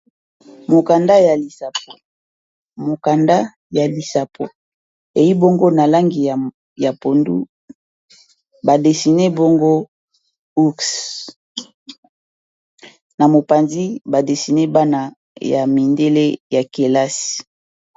Mokanda ya lisapo eyi bongo na langi ya pondu ba dessiné bongo ours na mopanzi ba dessiné bana ya mindele ya kelasi.